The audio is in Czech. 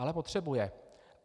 Ale potřebuje.